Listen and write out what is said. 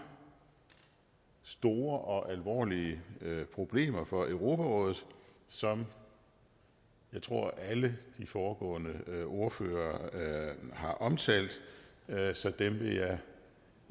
store og alvorlige problemer for europarådet som jeg tror alle de foregående ordførere har omtalt så dem vil jeg